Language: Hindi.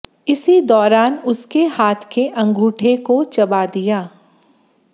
इसी दौरान उसके हाथ के अंगूठे को चबा दिया